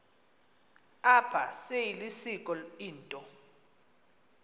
apha seyilisiko into